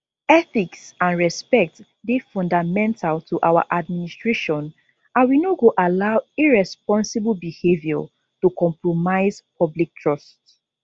ethics and respect dey fundamental to our administration and we no go allow irresponsible behaviour to compromise public trust